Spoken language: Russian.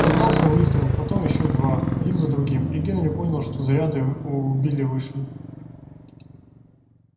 раздался выстрел потом ещё два один за другим и генри понял что заряды у билла вышли